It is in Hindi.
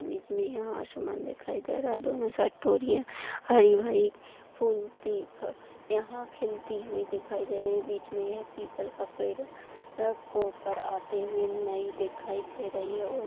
बीच मे यह आसमान दिखाई दे रहा दोनों साइड हरी भरी यह खिलती हुई दिखाई दे रही है बीच मे यह पीपल का पेड़ अ कोपर आते हुए नहीं दिखाई दे रही है और--